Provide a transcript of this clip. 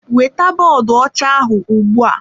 Weta bọọdụ ọcha ahụ ugbu a!